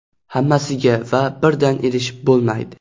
Hammasiga va birdan erishib bo‘lmaydi.